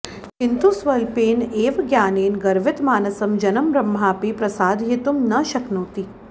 किन्तु स्वल्पेन एव ज्ञानेन गर्वितमानसं जनं ब्रह्मापि प्रसादयितुम् न शक्नोति